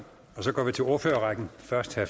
ført til at